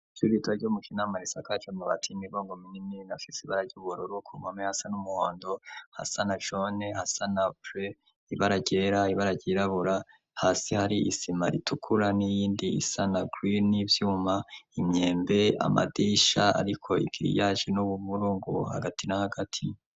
Ivyurita ryo mu kinama risakaje mu batimibongo minini nafitse ibararyubuororo kumpwame hasa n'umuhondo hasana jone hasana pre ibararyera ibararyirabura hasi hari isima ritukura n'iyindi isana gwie n'ivyuma imyembe amadisha, ariko igiri yaje n'ubumuru ngubo hagati na hagati.